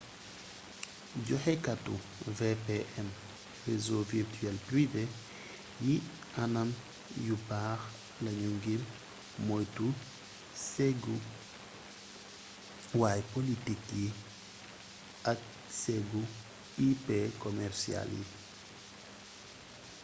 joxekati vpn réseau virtuel privé yi anam yu baax lañu ngir moytu séggu way-polotik yi ak séggu ip commercial yi